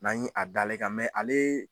N'an ye a dal'e kan ale